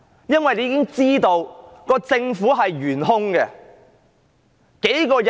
因為現在已經知道政府是懸空的。